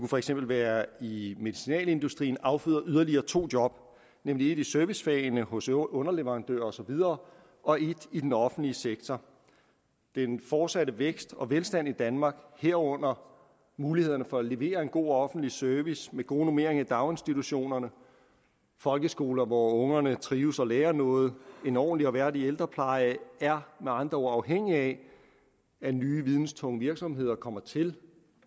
for eksempel være i medicinalindustrien afføder yderligere to job nemlig et i servicefagene hos underleverandører og så videre og et i den offentlige sektor den fortsatte vækst og velstand i danmark herunder mulighederne for at levere en god offentlig service med gode normeringer i daginstitutionerne folkeskoler hvor ungerne trives og lærer noget og en ordentlig og værdig ældrepleje er med andre ord afhængig af at nye videnstunge virksomheder kommer til